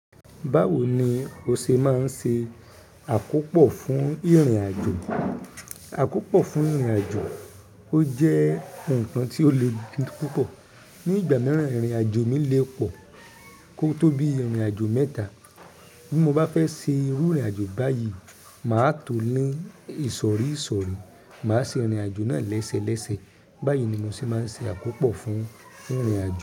Báwo ni o ṣe máa ń ṣe àkópò fún ìrìnàjò? Àkópò fún ìrìnàjò, ó jẹ́ nǹkan tí ó le di púpọ̀. Ní ìgbà mìíràn, ìrìnàjò mi lè pọ̀ kó tó bí ìrìnàjò mẹ́ta. Bí mo bá fẹ́ ṣe irú ìrìnàjò báyìí, màá tó ní ìsọ̀rí ìsọ̀rí. Màá ṣe ìrìnàjò náà léṣe léṣe. Báyìí ni mo ṣe máa ń ṣe àkópò fún ìrìnàjò.